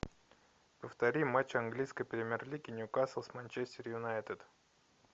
повтори матч английской премьер лиги ньюкасл с манчестер юнайтед